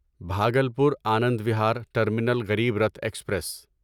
Bhagalpur Anand Vihar terminal Garib Rath express